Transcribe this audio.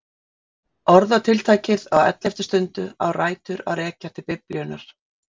Orðatiltækið á elleftu stundu á rætur að rekja til Biblíunnar.